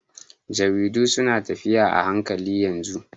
Jaridu suna tafiya a hankali yanzu